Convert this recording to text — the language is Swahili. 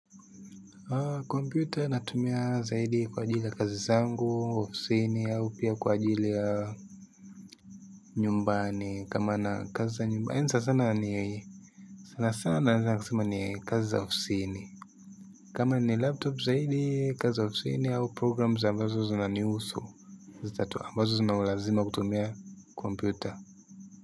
Kwa computer natumia zaidi kwa ajili ya kazi zangu, ofisini, au pia kwa ajili ya nyumbani, kama na kazi za nyumbani, nisa sana niwe. Sana sana nisa na kisema ni kazi za ofisini. Kama ni laptop zaidi, kazi za ofisini, au programs ambazo zunanihusu, zitatu ambazo zuna ulazima kutumia computer.